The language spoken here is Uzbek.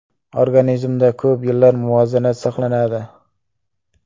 Organizmda ko‘p yillar muvozanat saqlanadi.